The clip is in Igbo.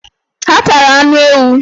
Ha tara anụ ewu.